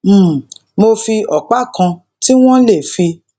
um mo fi òpá kan tí wón lè fi